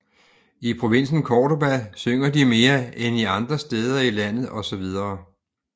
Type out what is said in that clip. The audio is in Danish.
I provinsen Córdoba synger de mere end i andre steder i landet osv